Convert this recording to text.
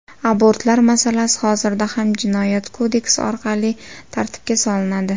Abortlar masalasi hozirda ham jinoyat kodeksi orqali tartibga solinadi.